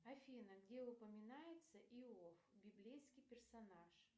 афина где упоминается иов библейский персонаж